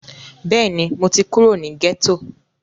Bẹ́ẹ̀ni, mo ti kúrò ní gẹ́tò